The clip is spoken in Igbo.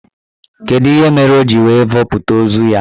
Kedụ ihe mere o ji wee vọpụta ozu ya?